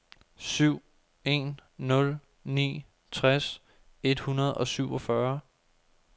syv en nul ni tres et hundrede og syvogfyrre